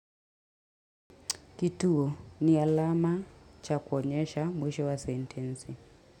Kituo ni alama cha kuonyesha mwisho wa sentensi.